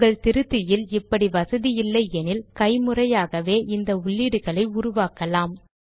உங்கள் திருத்தியில் இப்படி வசதி இல்லை எனில் கைமுறையாகவே இந்த உள்ளீடுகளை உருவாக்கலாம்